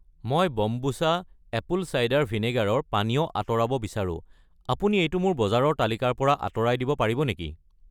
মই kombucha apple cider ভিনেগাৰৰ পানীয় আঁতৰাব বিচাৰো, আপুনি এইটো মোৰ বজাৰৰ তালিকাৰ পৰা আঁতৰাই দিব পাৰিব নেকি?